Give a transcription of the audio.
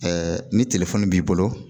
ni b'i bolo